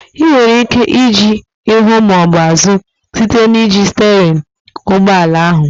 Ị nwere ike ije ihu maọbụ azụ site n'iji sterịn ụgbọala ahụ